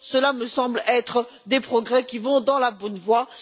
Cela me semble être des progrès qui vont dans la bonne voie.